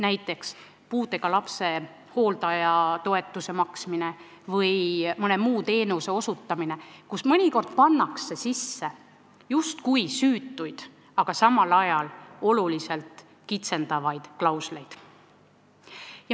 Näiteks pannakse puudega lapse hooldaja toetuse maksmise või mõne teenuse osutamise korda sisse justkui süütuid, aga samal ajal oluliselt kitsendavaid klausleid.